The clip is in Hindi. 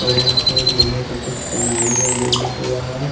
और यहां पे लोहे का कुछ बनाया गया बिल्डिंग के बाहर--